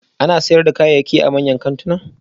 Ana sayar da kayayyaki a manyan kantuna